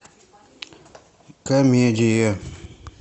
комедия